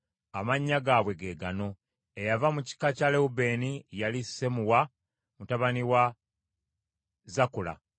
Amannya gaabwe ge gano: Eyava mu kika kya Lewubeeni yali Sammuwa mutabani wa Zakula.